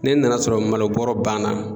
Ni n nana sɔrɔ malobɔrɔ ban na